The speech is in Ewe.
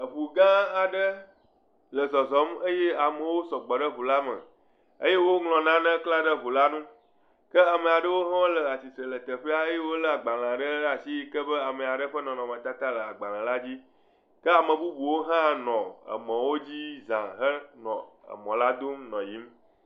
Eŋu gã aɖe le zɔzɔm eye amewo sɔgbɔ ɖe ŋu la me eye woŋlɔ nane kle ɖe ŋu la ŋu. Kea me aɖewo hã le tsitre le teƒea eye wolé agbalẽ ɖe ɖe asi yike ame aɖe ƒe nɔnɔmetata le agbalẽ la dzi. Kea me bubuwo hã nɔ emɔwo dzi za henɔ emɔ la dom nɔ yiyim.